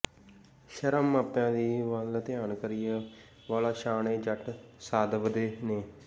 ਸ਼ਰਮ ਮਾਪਿਆਂ ਦੀ ਵਲ ਧਿਆਨ ਕਰੀਏ ਵਾਲਾ ਸ਼ਾਨ ਇਹ ਜੱਟ ਸਾਂਦਵਦੇ ਨੇ